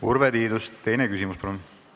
Urve Tiidus, teine küsimus palun!